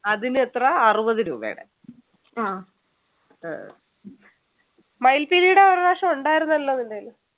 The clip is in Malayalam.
അതിനെത്ര അറുപത് രൂപയുടെ ആഹ് മയില്പീലിയുടെ ഒരു പ്രാവശ്യം ഉണ്ടായിരുന്നല്ലോ നിൻ്റെ കയ്യില്